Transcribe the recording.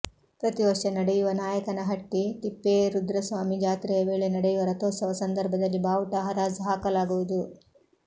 ಪ್ರತಿ ವರ್ಷ ನಡೆಯುವ ನಾಯಕನಹಟ್ಟಿ ತಿಪ್ಪೇರುದ್ರಸ್ವಾಮಿ ಜಾತ್ರೆಯ ವೇಳೆ ನಡೆಯುವ ರಥೋತ್ಸವ ಸಂದರ್ಭದಲ್ಲಿ ಬಾವುಟ ಹರಾಜು ಹಾಕಲಾಗುವುದು